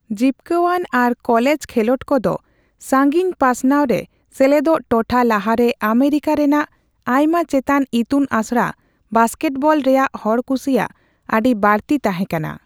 ᱡᱤᱵᱠᱟᱹᱟᱱ ᱟᱨ ᱠᱚᱞᱮᱡ ᱠᱷᱮᱞᱚᱸᱰ ᱠᱚ ᱫᱚ ᱥᱟᱹᱜᱤᱧ ᱯᱟᱥᱱᱟᱣ ᱨᱮ ᱥᱮᱞᱮᱫᱚᱜ ᱴᱚᱴᱷᱟ ᱞᱟᱦᱟᱨᱮ ᱟᱢᱮᱨᱤᱠᱟ ᱨᱮᱱᱟᱜ ᱟᱭᱢᱟ ᱪᱮᱛᱟᱱ ᱤᱛᱩᱱ ᱟᱥᱲᱟ ᱵᱟᱥᱠᱮᱴᱵᱚᱞ ᱨᱮᱭᱟᱜ ᱦᱚᱲᱠᱩᱥᱤᱼᱟᱜ ᱟᱹᱰᱤ ᱵᱟᱹᱲᱛᱤ ᱛᱟᱸᱦᱮ ᱠᱟᱱᱟ ᱾